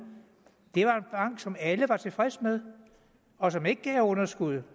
det var en bank som alle var tilfredse med og som ikke gav underskud